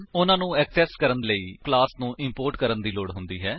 ਉਨ੍ਹਾਂ ਨੂੰ ਏਕਸੇਸ ਕਰਨ ਦੇ ਲਈ ਸਾਨੂੰ ਕਲਾਸ ਨੂੰ ਇੰਪੋਰਟ ਕਰਨ ਦੀ ਲੋੜ ਹੁੰਦੀ ਹੈ